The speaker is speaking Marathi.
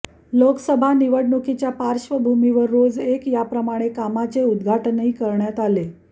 लोकसभा निवडणुकीच्या पार्श्वभूमीवर रोज एक याप्रमाणे कामांचे उद्घाटनही करण्यात आले